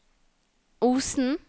Osen